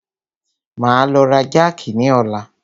Máa lọ ra jákì ni ọ̀la.